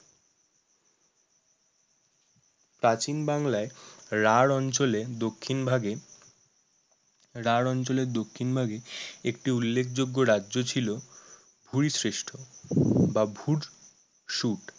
প্রাচীন বাংলার রাঢ় অঞ্চলের দক্ষিণ ভাগে রাঢ় অঞ্চলের দক্ষিণ ভাগে একটি উল্লেখযোগ্য রাজ্য ছিল ভুরীশ্রেষ্ঠ বা ভুর সুট